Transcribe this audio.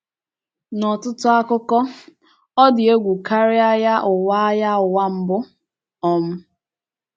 N’ọtụtụ akụkụ,ọ dị egwu karị àgha ụ́wa àgha ụ́wa Mbụ um.